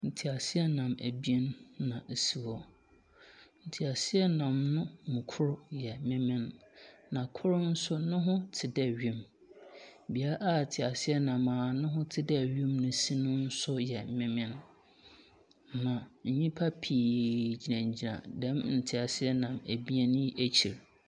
Nteaseanam abien na osi hɔ. Nteaseanam no mu kor yɛ mmemmem, na kor nso, noho te dɛ wim. Bea a teaseanam a noho te dɛ wim si no nso yɛ mmemmem, na nyimpa piiiiiii gyinagyinam dɛm nteaseanam ebien yi ekyir.